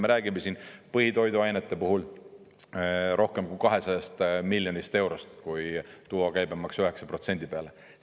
Me räägime siin põhitoiduainete puhul rohkem kui 200 miljonist eurost, kui tuua käibemaks 9% peale.